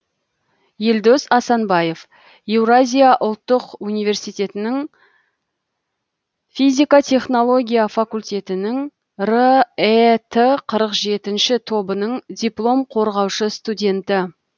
елдос асанбаев еуразия ұлттық университетінің физика технология факультетінің рэт қырық жетінші тобының диплом қорғаушы студенті